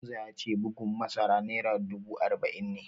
Hamza ya ce bugun masara naira dubu arba'in ne